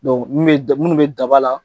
Dɔnki minnu bɛ daba la